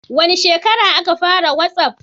Wani shekara a ka fara watsaf?